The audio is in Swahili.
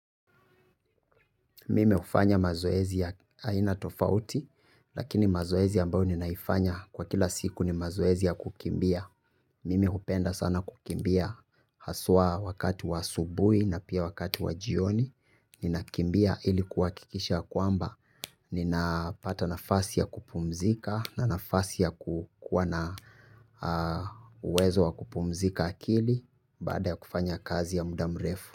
Mimi hufanya mazoezi ya aina tofauti. Lakini mazoezi ambayo ninaifanya kwa kila siku ni mazoezi ya kukimbia. Mimi hupenda sana kukimbia. Haswa wakati wa asubuhi na pia wakati wa jioni. Ninakimbia ili kuhakikisha kwamba ninapata nafasi ya kupumzika. Na nafasi ya kuwa na uwezo wa kupumzika akili. Baada ya kufanya kazi ya muda mrefu.